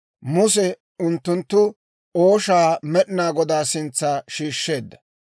Muse unttunttu ooshaa Med'inaa Godaa sintsa shiishsheedda.